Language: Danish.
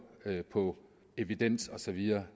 på evidens og så videre